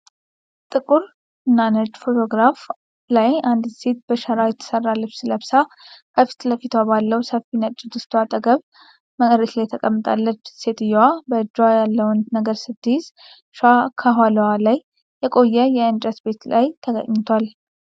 ጥቁር እና ነጭ ፎቶግራፍ ላይ አንዲት ሴት በሸራ የተሰራ ልብስ ለብሳ፣ ከፊት ለፊቷ ባለው ሰፊ ነጭ ድስቷ አጠገብ መሬት ላይ ተቀምጣለች። ሴትዮዋ በእጇ ያለውን ነገር ስትይዝ፣ ሻ ከኋላዋ ባለ የቆየ የእንጨት ቤት በር ላይ ተኝቷል።